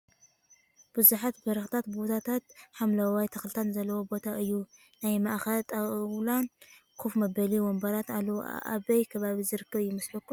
ብዙሓት በረክቲ ቦታትን ሓመለዋይ ተክልታትን ዘለዎ ቦታ እዩ። ናይ ማእከል ጣውላን ከፍ መበሊ ወንበራትን ኣለው። ኣበይ ከባቢ ዝርከብ ይመስለኩም ?